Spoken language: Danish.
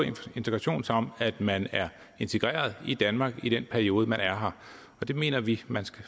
integration som at man er integreret i danmark i den periode man er her og det mener vi at man